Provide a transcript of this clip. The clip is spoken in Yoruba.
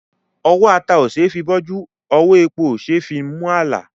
Ọwọ́ ata òṣeé fi bọ́jú; ọwọ́ epo òṣeé fi mú àlà.